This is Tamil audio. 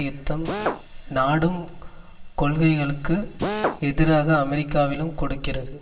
யுத்தம் நாடும் கொள்கைகளுக்கு எதிராக அமெரிக்காவிலும் கொடுக்கிறது